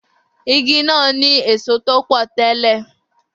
Igi náà ní èso tó pọ̀ tẹ́lè